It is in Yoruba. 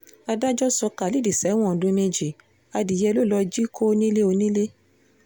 adájọ́ sọ khalid sẹ́wọ̀n ọdún méjì adìyẹ ló lọ́ọ́ jí kó nílé onílé